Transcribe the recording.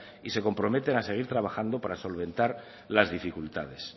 y se comprometen a seguir trabajando para solventar las dificultades